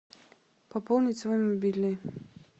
пополнить свой мобильный